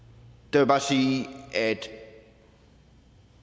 jeg bare sige at